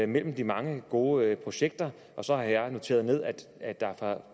mellem de mange gode projekter så har jeg noteret ned at der fra